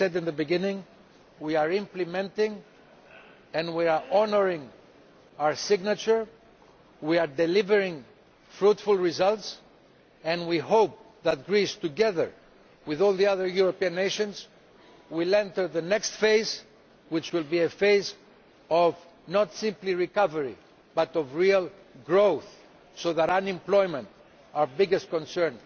As I said at the beginning, we are implementing what we have undertaken to implement and we are honouring our signature. We are delivering fruitful results, and we hope that Greece, together with all the other European nations, will enter the next phase, which will be a phase not simply of recovery but of real growth, so that unemployment our biggest concern